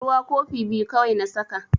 Ruwa kofi biyu kawai na saka.